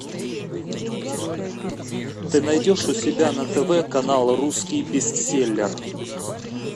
ты найдешь у себя на тв канал русский бестселлер